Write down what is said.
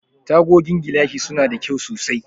Tagogin gilashi suna da kyau sosai.